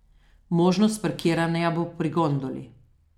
Možnost parkiranja bo pri gondoli.